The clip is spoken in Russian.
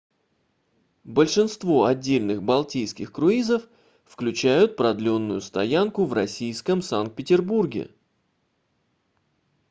большинство отдельных балтийских круизов включают продленную стоянку в российском санкт-петербурге